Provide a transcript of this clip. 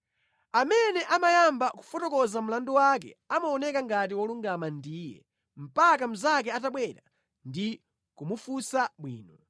Amene amayamba kufotokoza mlandu wake amaoneka ngati wolungama ndiye mpaka mnzake atabwera ndi kumufunsa bwino.